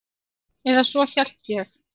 Eða svo hélt ég.